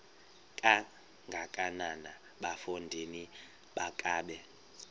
kangakanana bafondini makabe